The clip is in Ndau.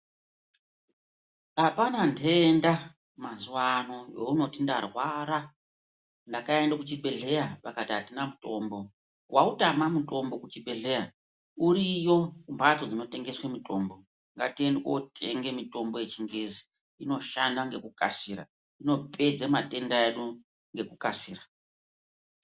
Apana ntenda mazuwa ano yeunoti ndarwara ndakaende kuchibhedhleya vakati atina mutombo wautama mutombo kuchibhedhleya uriyo kumhatso dzinotengeswe mutombo ngatiende kotenge mutombo yechingezi inoshande ngekukasira inopedze matenda edu Ngekukasira